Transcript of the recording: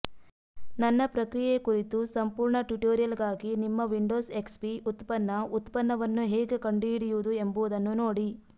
ನನ್ನ ಪ್ರಕ್ರಿಯೆ ಕುರಿತು ಸಂಪೂರ್ಣ ಟ್ಯುಟೋರಿಯಲ್ಗಾಗಿ ನಿಮ್ಮ ವಿಂಡೋಸ್ ಎಕ್ಸ್ ಪಿ ಉತ್ಪನ್ನ ಉತ್ಪನ್ನವನ್ನು ಹೇಗೆ ಕಂಡುಹಿಡಿಯುವುದು ಎಂಬುದನ್ನು ನೋಡಿ